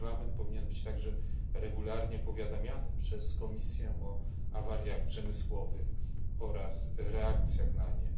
Parlament powinien być także regularnie powiadamiany przez Komisję o awariach przemysłowych oraz reakcjach na nie.